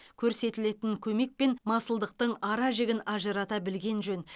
көрсетілетін көмек пен масылдықтың ара жігін ажырата білген жөн